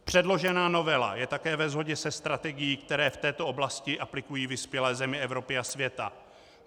Předložená novela je také ve shodě se strategií, kterou v této oblasti aplikují vyspělé země Evropy a světa.